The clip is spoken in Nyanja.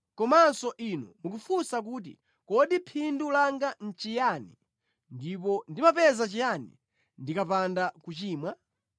Komanso inu mukufunsa kuti, ‘Kodi phindu langa nʼchiyani, ndipo ndimapeza chiyani ndikapanda kuchimwa?’